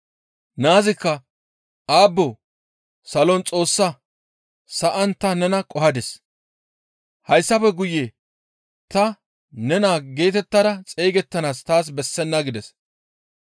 «Naazikka, ‹Aabboo! Salon Xoossaa, sa7an ta nena qohadis; hayssafe guye ta ne naa geetettada xeygettanaas taas bessenna› gides.